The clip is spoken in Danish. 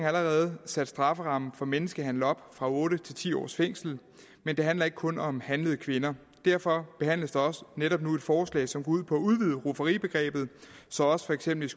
allerede sat strafferammen for menneskehandel op fra otte til ti års fængsel men det handler ikke kun om handlede kvinder derfor behandles også netop nu et forslag som går ud på at udvide rufferibegrebet så også for eksempel